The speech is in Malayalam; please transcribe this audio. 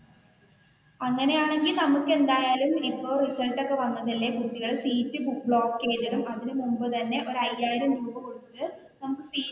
അങ്ങനെ ആണെങ്കിൽ നമുക്ക് എന്തായാലും ഇപ്പൊ റിസൾട്ട് ഒക്കെ വന്നതല്ലേ കുട്ടികൾ സീറ്റുകൾ ബ്ലോക്ക് ചെയ്തു ഇടും അതിനു മുൻപ് തന്നെ ഒരു അയ്യായിരം രൂപ കൊടുത്തു നമുക്ക് സി